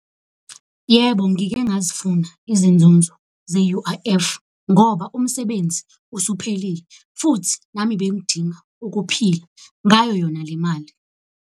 Yebo, ngike ngazifuna izinzuzo ze-U_I_F ngoba umsebenzi usuphelile futhi nami bengidinga ukuphila ngayo yona le mali.